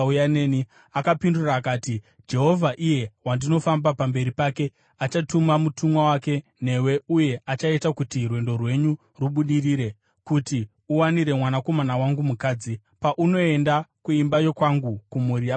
“Akapindura akati, ‘Jehovha, iye wandinofamba pamberi pake, achatuma mutumwa wake newe uye achaita kuti rwendo rwenyu rubudirire, kuti uwanire mwanakomana wangu mukadzi, paunoenda kuimba yokwangu, kumhuri yababa vangu.